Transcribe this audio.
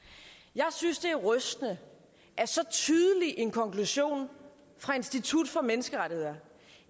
jeg synes det er rystende at så tydelig en konklusion fra institut for menneskerettigheder